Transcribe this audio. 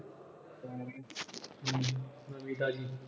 ਨਵੀਂ ਤਾਜ਼ੀ।